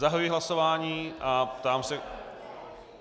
Zahajuji hlasování a ptám se...